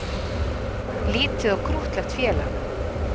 Lítið og krúttlegt félag